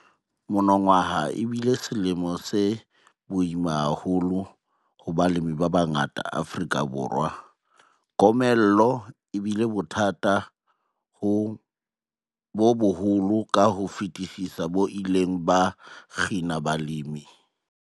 Monongwaha e bile selemo se boima haholo ho balemi ba bangata ba Afrika Borwa. Komello e bile bothata bo boholo ka ho fetisisa bo ileng ba kgina balemi.